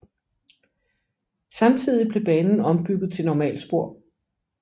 Samtidig blev banen ombygget til normalspor